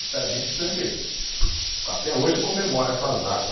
Então, a gente sempre, até hoje, comemora essas data.